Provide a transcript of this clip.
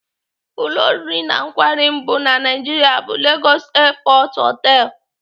Ụlọ oriri na nkwari mbu na Naijiria bụ Lagos Airport Hotel.